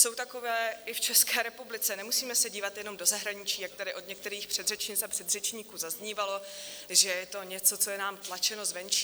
Jsou takové i v České republice, nemusíme se dívat jenom do zahraničí, jak tady od některých předřečnic a předřečníků zaznívalo, že je to něco, co je nám tlačeno zvenčí.